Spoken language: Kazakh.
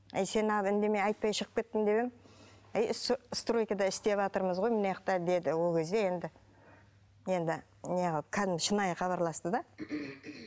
әй сен неғып үндемей айтпай шығып кеттің деп едім әй стройкада істеватырмыз ғой мыняқта деді ол кезде енді енді неғылып кәдімгі шынайы хабарласты да